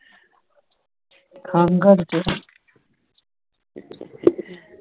ਖੰਗ